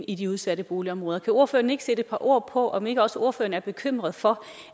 i de udsatte boligområder kan ordføreren ikke sætte et par ord på og om ikke også ordføreren er bekymret for